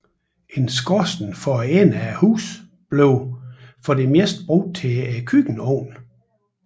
En skorsten for enden af huset blev for det meste brugt til køkkenovnen